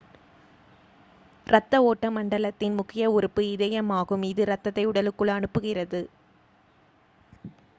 இரத்த ஓட்ட மண்டலத்தின் முக்கிய உறுப்பு இதயம் ஆகும் இது இரத்தத்தை உடலுக்குள் அனுப்புகிறது